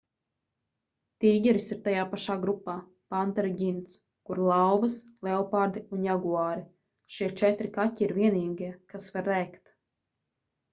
tīģeris ir tajā pašā grupā panteru ģints kur lauvas leopardi un jaguāri. šie četri kaķi ir vienīgie kas var rēkt